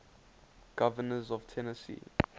governors of tennessee